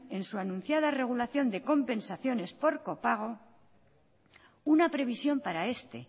en su anunciada regulación de compensaciones por copago una previsión para este